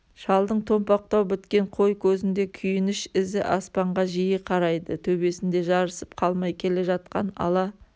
шалдың томпақтау біткен қой көзінде күйініш ізі аспанға жиі қарайды төбесінде жарысып қалмай келе жатқан ала